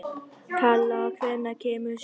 Kala, hvenær kemur sjöan?